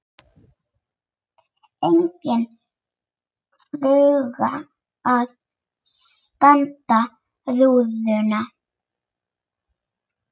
Engin fluga að stanga rúðuna.